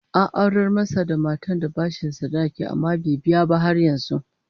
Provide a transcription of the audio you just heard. An aurar masa da matar da bashin sadaki, amma bai biya ba har yanzu